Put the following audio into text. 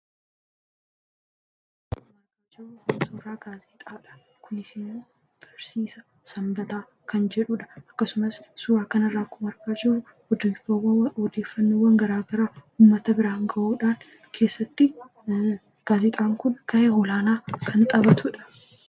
Suuraan asirratti arginu kunis gaazexaa bariisaa sanbataa kan jedhudha. Suuraan kun akkuma arginu odeeffannoowwan garaagaraa uummata biraan gahuudhaan keessatti gaazexaan kun gahee olaanaa kan taphatudha.